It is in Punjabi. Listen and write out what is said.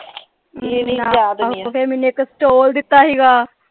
ਇਹ ਨਹੀਂ ਯਾਦ ਆਹੋ ਫੇਰ ਮੈਨੂੰ ਇਕ ਸਟੋਲ ਦਿੱਤਾ ਸੀਗਾ।